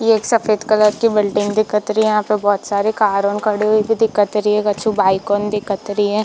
ये एक सफ़ेद कलर की बिल्डिंग दिखत रही है यहाँ पर बहुत सारे कार ऑन खड़े हुए भी दिखत रही है कछु बाइक ऑन दिखत रही है।